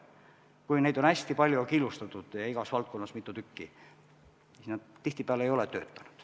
Kui neid on hästi palju ja nad on killustatud ja igas valdkonnas on neid mitu tükki, siis nad tihtipeale ei tööta.